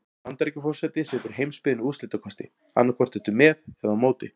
Bandaríkjaforseti setur heimsbyggðinni úrslitakosti: annað hvort ertu með eða á móti.